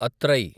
అత్రై